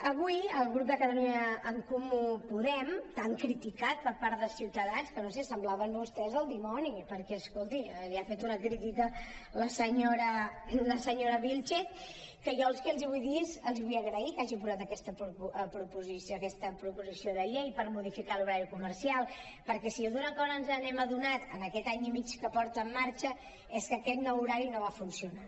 avui el grup de catalunya en comú podem tan criticat per part de ciutadans que no ho sé semblaven vostès el dimoni perquè escolti li ha fet una crítica la se·nyora vílchez que jo els vull dir els vull agrair que hagin portat aquesta proposi·ció de llei per modificar l’horari comercial perquè si d’una cosa ens hem adonat en aquest any i mig que porta en marxa és que aquest nou horari no va funcionar